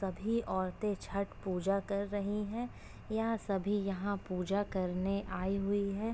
सभी औरतें छठ पूजा कर रही हैं। यह सभी यहां पूजा करने आई हुई है ।